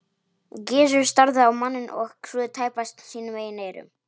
Gizur starði á manninn og trúði tæpast sínum eigin eyrum.